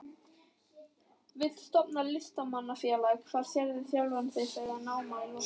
Vill stofna Listamanna-félag Hvar sérðu sjálfan þig að námi loknu?